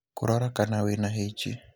Kũrora kana wĩna H.